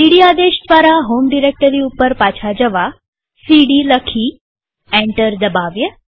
સીડી આદેશ દ્વારા home directory ઉપર પાછા જવા સીડી લખી અને એન્ટર દબાવીએ